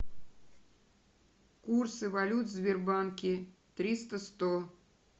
курсы валют в сбербанке триста сто